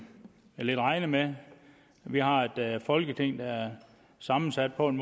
jeg lidt regnede med vi har et folketing der er sammensat på en